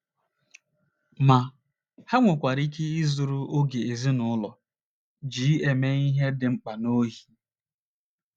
Ma, ha nwekwara ike izuru oge ezinụlọ ji eme ihe dị mkpa n’ohi.